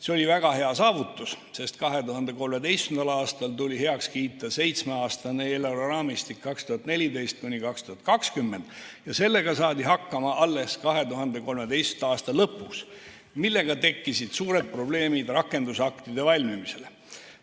See oli väga hea saavutus, sest 2013. aastal tuli heaks kiita seitsmeaastane eelarveraamistik aastateks 2014–2020 ja sellega saadi hakkama alles 2013. aasta lõpus, mille tagajärjel tekkisid suured probleemid rakendusaktide valmimisel.